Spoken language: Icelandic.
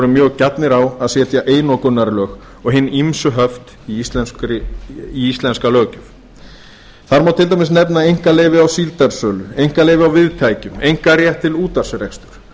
mjög gjarnir á að setja einokunarlög og hin ýmsu höft í íslenska löggjöf þar má til dæmis nefna einkaleyfi á síldarsölu einkaleyfi á viðtækjum einkarétt til útvarpsreksturs